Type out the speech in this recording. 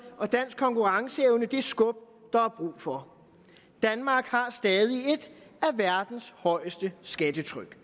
og dansk konkurrenceevne det skub der er brug for danmark har stadig et af verdens højeste skattetryk